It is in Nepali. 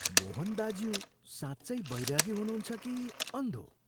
मोहन दाज्यू साँचै वैरागी हुनुहन्छ कि अन्धो?